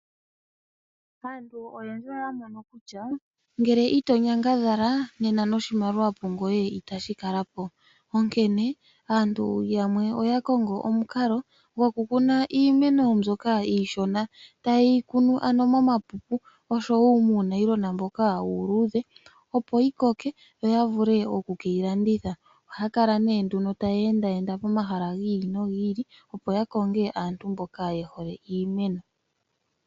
Aantu oyendji oya mono kutya ngele ito nyangadhala nena noshimaliwa pungoye itashi kala po, onkene aantu yamwe oya kongo omukalo goku kuna iimeno mbyoka iishona taye yi kunu ano momapupu oshowo muupulastika mboka uuludhe opo yi koke yo ya vule okuyi landitha. Ohaya kala nee nduno taye enda enda pomahala gi ili nogi ili opo ya konge aantu mboka ye hole iimeno.